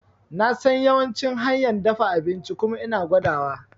Nasan yawancin hanyan dafa abinci kuma ina gwada wa